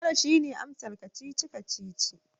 Tara! shine amsar kacici-kacici